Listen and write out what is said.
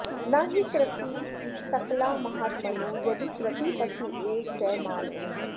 न हि कृतिः सकला महात्मनो यदि कृतिः पशुरेव स मानवः